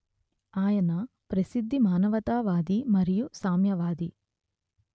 ఆయన ప్రసిద్ధ మానవతా వాది మరియు సామ్యవాది